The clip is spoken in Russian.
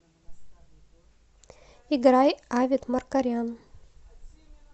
играй авет маркарян